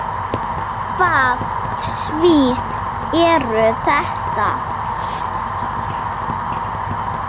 Hvaða svið eru þetta?